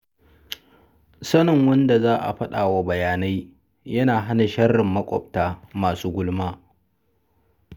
Sanin wanda za a faɗa wa bayanai yana hana sharrin maƙwabta masu gulma.